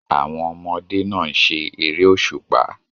Àwọn ọmọdé náà ń ṣe eré òṣùpá